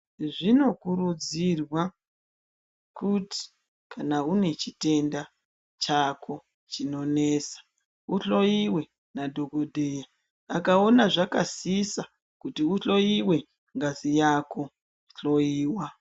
Zvinokurudzirwa kuti kana une chitenda chako chinonesa uhloyiwe nadhokodheya akaona akaona zvakasisa kuti uhloyiwe ngazi yako, hloyiwa.